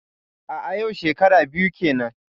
A'a yau shekara biyu kenan.